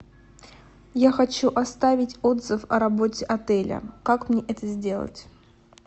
я хочу оставить отзыв о работе отеля как мне это сделать